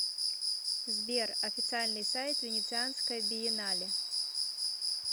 сбер официальный сайт венецианская биеннале